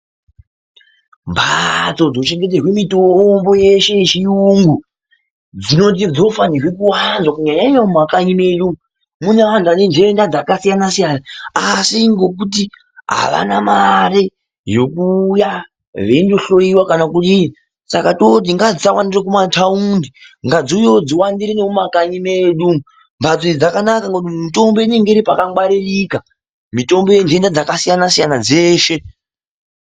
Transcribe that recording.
Mbatso dzochengeterwe mitombo yeshe yechirungu dzinofanirwe kuwanda ,kunyanya nyanya muma kanyimenyu, mune anhu vane ntenda dzakasiyana siyana asi ngekuti havana mari yokuwuya beyihloriwa kana kudii, asi ngadzi sawandire kuma tawundi ngadz iwuyewo dziwandire kuma kanyi medu. Mbatso idzi dzakanaka nekuti mitombo inenge iri paka ngwaririka mitombo yenjenda dzakasiyana siyana dzeshe.